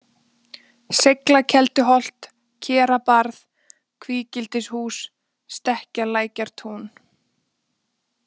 Seiglakelduholt, Kerabarð, Kvígildishús, Stekkjarlækjartún